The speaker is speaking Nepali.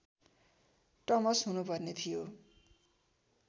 टमस हुनुपर्ने थियो